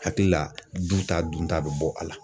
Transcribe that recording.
Hakili la, du ta dun ta be bɔ a la.